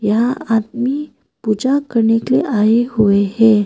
यहां आदमी पूजा करने के लिए आए हुए हैं।